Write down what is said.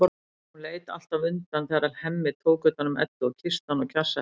Hún leit alltaf undan þegar Hemmi tók utan um Eddu og kyssti hana og kjassaði.